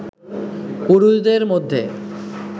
পুরুষদের মধ্যে